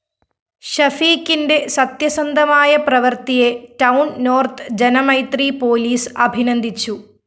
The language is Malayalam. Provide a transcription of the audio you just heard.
ഷഫീഖിന്റെ സത്യസന്ധമായ പ്രവര്‍ത്തിയെ ടൌൺ നോർത്ത്‌ ജനമൈത്രി പോലീസ് അഭിനന്ദിച്ചു